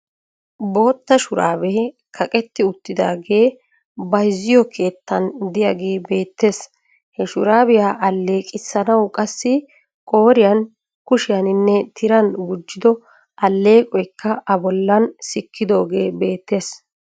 Bootta shuraabee kaqetti uttiidaagee bayizziyookeettan de'iyagee beettes. He shuraabiya alleeqissanawu qassi qooriyan, kushiyaaninne tiran gujido alleqoyikka a bollan sikkidoogee beettes.